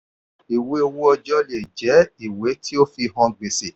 ìwé owó ọjọ́ lè jẹ ìwé tí ó fi hàn gbèsè.